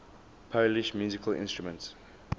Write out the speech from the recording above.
polish musical instruments